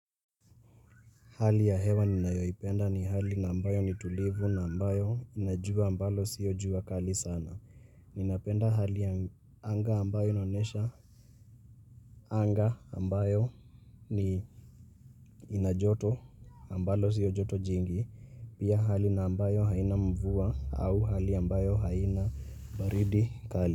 Hali ya hewa ninayoipenda ni hali na ambayo ni tulivu na ambayo ina jua ambalo sio jua kali sana. Ninapenda hali ya anga ambayo inonyesha. Anga ambayo ni ina joto ambalo sio joto jingi. Pia hali na ambayo haina mvua au hali ambayo haina baridi kali.